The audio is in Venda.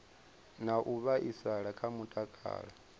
na u vhaisala kha mutakalo